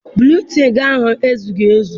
Buletịịnụ ahụ ezughị ezu.